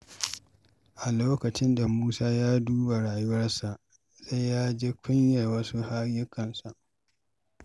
A lokacin da Musa ya duba rayuwarsa, sai da ya ji kunyar wasu ayyukansa.